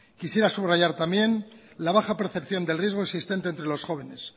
quisiera subrayar también la baja percepción del riesgo existente entre los jóvenes